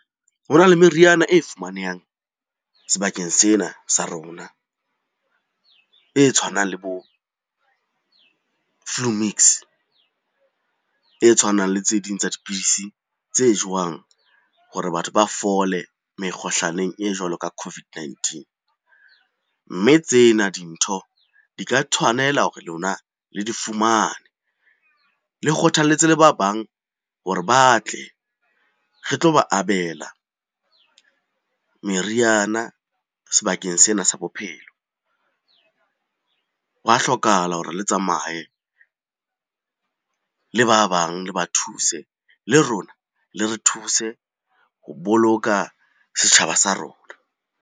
Ho na le meriana e fumanehang sebakeng sena sa rona e tshwanang le bo flu mix, e tshwanang le tse ding tsa dipidisi tse jowang hore batho ba fole mekgohlaneng e jwalo ka COVID-19. Mme tsena dintho di ka tshwanela hore lona le di fumane, le kgothaletse le ba bang hore ba tle re tlo ba abela meriana sebakeng sena sa bophelo. Hwa hlokahala hore le tsamaye le ba bang le ba thuse, le rona le re thuse ho boloka setjhaba sa rona.